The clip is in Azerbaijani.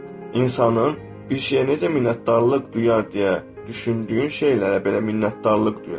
İnsanın bir şeyə necə minnətdarlıq duyur deyə düşündüyün şeylərə belə minnətdarlıq duyur.